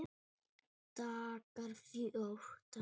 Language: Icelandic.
Dagar fjórtán